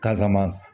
Kasama